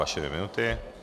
Vaše dvě minuty.